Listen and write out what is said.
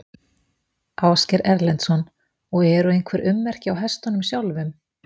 Ásgeir Erlendsson: Og eru einhver ummerki á hestunum sjálfum?